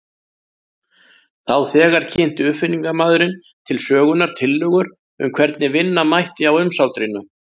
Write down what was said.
Þá þegar kynnti uppfinningamaðurinn til sögunnar tillögur um hvernig vinna mætti á umsátrinu.